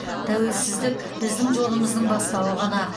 тәуелсіздік біздің жолымыздың бастауы ғана